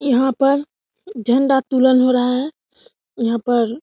यहां पर झंडा तोलन हो रहा है यहां पर --